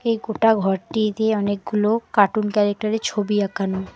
এ গোটা ঘরটি দিয়ে অনেকগুলো কার্টুন ক্যারেক্টার -এর ছবি আঁকানো।